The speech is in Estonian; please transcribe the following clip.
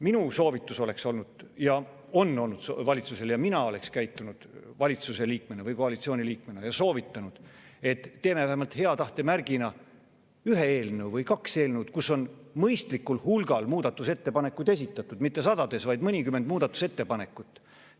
Minu soovitus oleks olnud see, mina oleksin koalitsiooni liikmena valitsusele soovitanud seda, et hea tahte märgina vähemalt ühe eelnõu või kaks eelnõu, mille kohta on esitatud mõistlikul hulgal muudatusettepanekuid, mitte sadades, vaid mõnikümmend muudatusettepanekut.